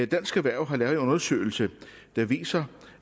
dansk erhverv har lavet en undersøgelse der viser